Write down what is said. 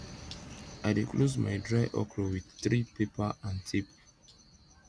i dey close my dry okra with three paper and tape